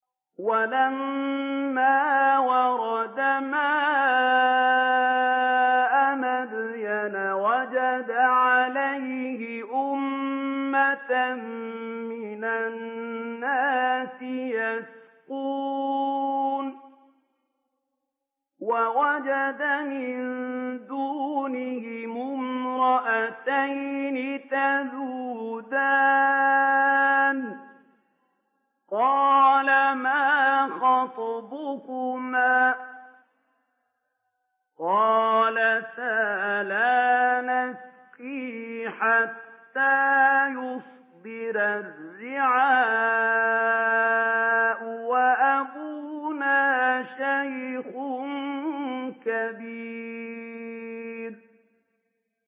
وَلَمَّا وَرَدَ مَاءَ مَدْيَنَ وَجَدَ عَلَيْهِ أُمَّةً مِّنَ النَّاسِ يَسْقُونَ وَوَجَدَ مِن دُونِهِمُ امْرَأَتَيْنِ تَذُودَانِ ۖ قَالَ مَا خَطْبُكُمَا ۖ قَالَتَا لَا نَسْقِي حَتَّىٰ يُصْدِرَ الرِّعَاءُ ۖ وَأَبُونَا شَيْخٌ كَبِيرٌ